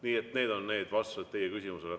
Nii et need on vastused teie küsimusele.